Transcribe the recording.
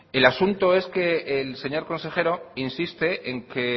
el asunto es que el señor consejero insiste en que